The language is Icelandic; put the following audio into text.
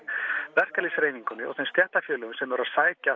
verkalýðshreyfingunni og þeim stéttarfélögum sem eru að sækja